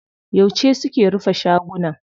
Yauce suke rufe shagunan?